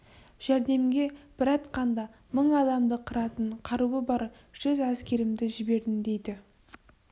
жәрдемге бір атқанда мың адамды қыратын қаруы бар жүз әскерімді жібердім дейді